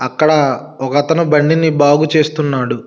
అక్కడ ఒగతను బండిని బాగు చేస్తున్నాడు.